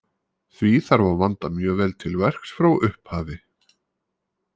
Því þarf að vanda mjög vel til verks frá upphafi.